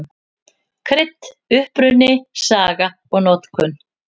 Krydd: Uppruni, saga og notkun.